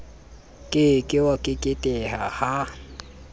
ke ke wa keketeha ha